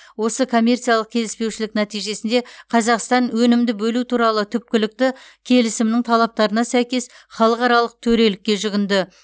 осы коммерциялық келіспеушілік нәтижесінде қазақстан өнімді бөлу туралы түпкілікті келісімнің талаптарына сәйкес халықаралық төрелікке жүгінді